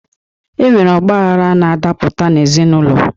E nwere ọgbaghara na-adapụta n'ezinụlọ.